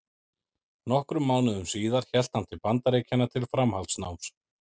Nokkrum mánuðum síðar hélt hann til Bandaríkjanna til framhaldsnáms.